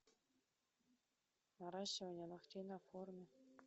наращивание ногтей на форме